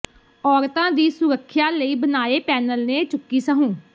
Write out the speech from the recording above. ਔਰਤਾਂ ਦੀ ਸੁਰੱਖਿਆ ਲਈ ਬਣਾਏ ਪੈਨਲ ਨੇ ਚੁੱਕੀ ਸਹੁੰ